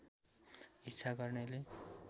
इच्छा गर्नेले